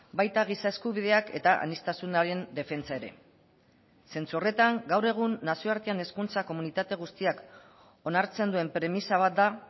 baita giza eskubideak eta aniztasunaren defentsa ere zentzu horretan gaur egun nazioartean hezkuntza komunitate guztiak onartzen duen premisa bat da